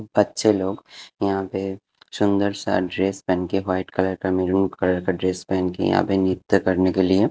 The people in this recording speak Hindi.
बच्चे लोग यहां पे सुंदर सा ड्रेस पेहन के व्हाइट कलर का मेरुन कलर का ड्रेस पेहन के यहां पे नृत्य करने के लिए--